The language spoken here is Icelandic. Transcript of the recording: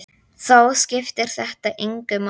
Þá skiptir þetta engu máli.